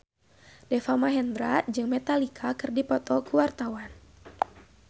Deva Mahendra jeung Metallica keur dipoto ku wartawan